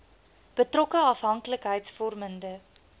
betrokke afhank likheidsvormende